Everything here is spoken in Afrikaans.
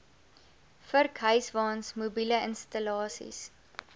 vurkhyswaens mobiele installasies